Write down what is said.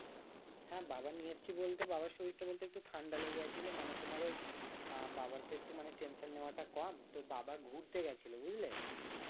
হ্যাঁ বাবার নিয়ে এসেছি বলতে বাবার শরীরটা বলতে একটু ঠান্ডা লেগে গেছিলো, মানে তোমার ওই আহ বাবার একটু তো tension নেওয়াটা কম তো বাবা ঘুরতে গেছিল বুঝলে